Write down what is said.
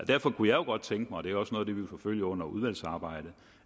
derfor kunne jeg godt tænke mig og det er også noget det vil forfølge under udvalgsarbejdet